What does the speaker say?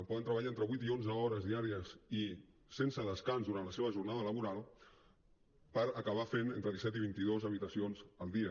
poden treballar entre vuit i onze hores diàries i sense descans durant la seva jornada laboral per acabar fent entre disset i vint i dos habitacions al dia